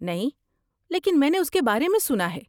نہیں، لیکن میں نے اس کے بارے میں سنا ہے۔